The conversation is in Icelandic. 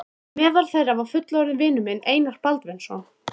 Meðal þeirra var fullorðinn vinur minn, Einar Baldvinsson.